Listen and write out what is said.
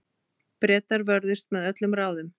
Bretar vörðust með öllum ráðum.